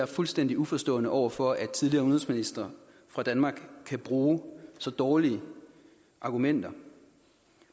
fuldstændig uforstående over for at tidligere udenrigsministre for danmark kan bruge så dårlige argumenter